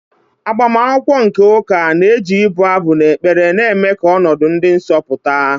IAgbamakwụkwọ nke ụka na-eji ibu abụ na ekpere na-eme ka ọnọdụ dị nsọ pụta.